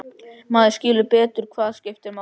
Maður skilur betur hvað skiptir máli.